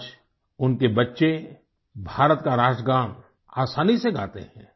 आज उनके बच्चे भारत का राष्ट्रगान आसानी से गाते हैं